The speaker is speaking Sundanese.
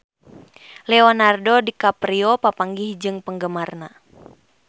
Leonardo DiCaprio papanggih jeung penggemarna